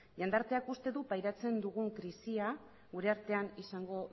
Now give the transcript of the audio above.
jendarteak uste du pairatzen dugun krisia gure artean izango